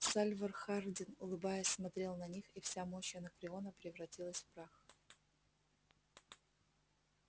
сальвор хардин улыбаясь смотрел на них и вся мощь анакреона превратилась в прах